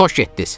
Xoş getdiz.